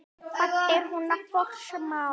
Hvað er hún að forsmá?